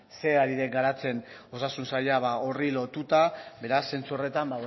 zer ari den garatzen osasun saila horri lotuta beraz zentzu horretan